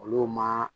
Olu ma